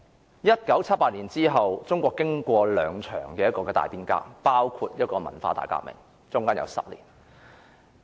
在1978年之前，中國經過了兩場大變革，包括歷時10年的文化大革命。